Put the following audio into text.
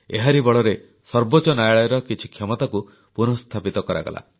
ଏହାରି ବଳରେ ସର୍ବୋଚ୍ଚ ନ୍ୟାୟାଳୟର କିଛି କ୍ଷମତାକୁ ପୁନଃସ୍ଥାପିତ କରାଗଲା